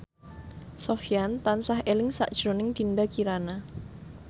Sofyan tansah eling sakjroning Dinda Kirana